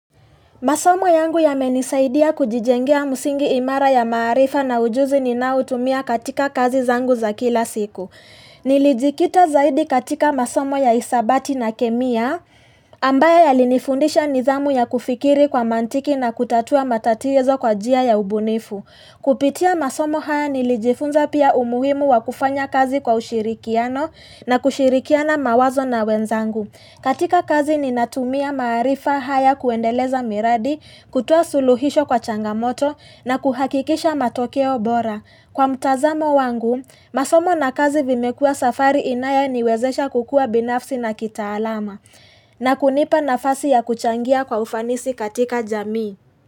Masomo yangu yamenisaidia kujijengea msingi imara ya maarifa na ujuzi ninaoutumia katika kazi zangu za kila siku. Nilijikita zaidi katika masomo ya isabati na kemia ambayo yalinifundisha nidhamu ya kufikiri kwa mantiki na kutatua matatizo kwa njia ya ubunifu. Kupitia masomo haya nilijifunza pia umuhimu wa kufanya kazi kwa ushirikiano na kushirikiana mawazo na wenzangu. Katika kazi ninatumia maarifa haya kuendeleza miradi kutoa suluhisho kwa changamoto na kuhakikisha matokeo bora. Kwa mtazamo wangu, masomo na kazi vimekua safari inayoniwezesha kukua binafsi na kitaalama. Na kunipa nafasi ya kuchangia kwa ufanisi katika jamii.